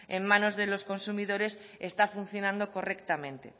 en manos de los consumidores está funcionando correctamente